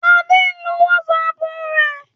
Adé ń lo WhatsApp rẹ̀.